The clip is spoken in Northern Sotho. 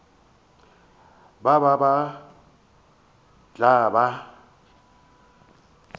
ba ba ba tla ba